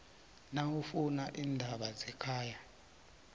nawufuna iindaba zekhaya